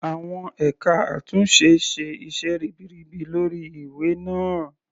Àwọn ẹka àtúnṣe ṣe iṣẹ́ ribiribi lórí ìwé náà.